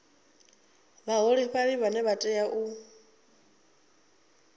vhaholefhali vhane vha tea u